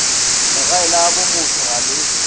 legae la bomotho ga le